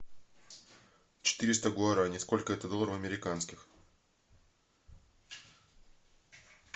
четыреста гуарани сколько это долларов американских